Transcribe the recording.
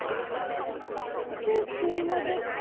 तू school मध्ये